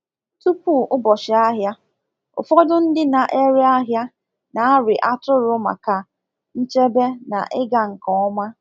Tupu ụbọchị ahịa, ụfọdụ ndị na-ere ahịa na-arị atụrụ maka nchebe na ịga nke ọma